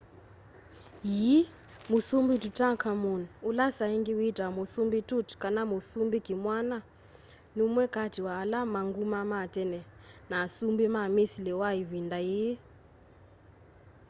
yii musumbi tutankhamun ula saaingi witawa musumbi tut kana musumbi kimwana numwe kati wa ala me nguma ma tene na asumbi ma misili ma ivinda yii